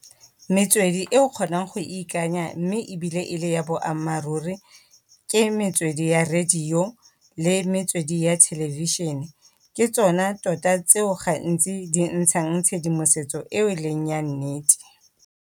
Metswedi e o kgonang go e ikanya mme ebile e le ya boammaaruri ke metswedi ya radio, le metswedi ya television-e, ke tsona tota tseo gantsi di ntshang tshedimosetso eo e leng ya nnete.